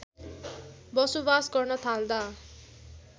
बसोवास गर्न थाल्दा